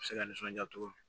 Se ka nisɔndiya cogo min na